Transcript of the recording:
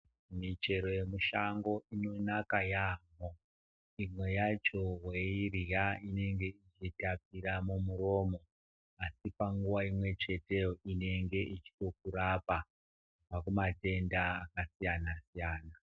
Michero yemushango inonaka yambo imwe yacho kuirya inenge ichitapira mumuromo asipanguwa imwecheteyo inenge ichingokurapa kubva kumatenda akasiyana siyana.